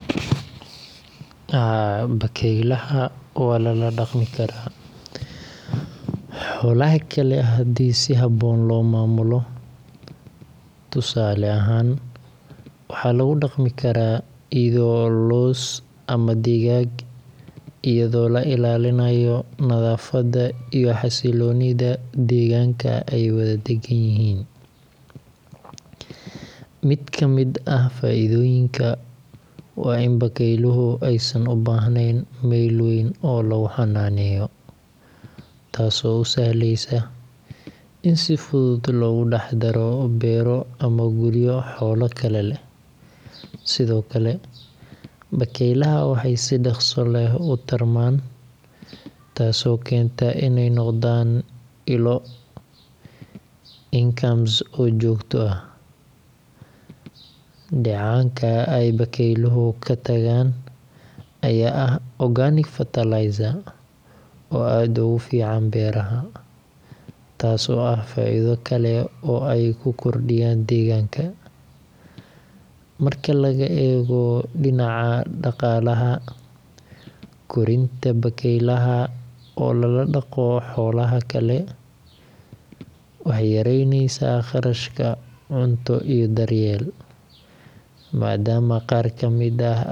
Haa, bakaylaha waa la la dhaqan karaa xoolaha kale haddii si habboon loo maamulo. Tusaale ahaan, waxaa lagu dhaqmi karaa ido, loos, ama digaag, iyadoo la ilaalinayo nadaafadda iyo xasiloonida deegaanka ay wada dagan yihiin. Mid ka mid ah faa’iidooyinka waa in bakayluhu aysan u baahnayn meel weyn oo lagu xanaaneeyo, taasoo u sahlaysa in si fudud loogu dhex-daro beero ama guryo xoolo kale leh. Sidoo kale, bakaylaha waxay si dhaqso leh u tarmaan, taasoo keenta inay noqdaan ilo income oo joogto ah. Dheecaanka ay bakayluhu ka tagaan ayaa ah organic fertilizer oo aad ugu fiican beeraha, taasoo ah faa’iido kale oo ay ku kordhiyaan deegaanka. Marka laga eego dhinaca dhaqaalaha, korinta bakaylaha oo lala dhaqo xoolaha kale waxay yaraynaysaa kharashka cunto iyo daryeel, maadaama